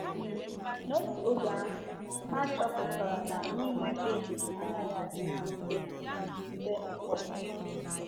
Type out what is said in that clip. um N’otu oge ahụ, ha achọpụtara na ịnwe mkpebi anaghị adị ha mfe um mgbe ụfọdụ.